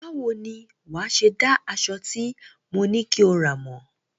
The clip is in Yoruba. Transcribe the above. Báwo ni wàá ṣe dá aṣọ tí mo ní kí o rà mọ̀?